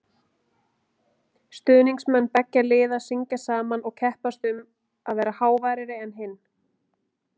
Stuðningsmenn beggja liða syngja saman og keppast um að vera háværari en hinn.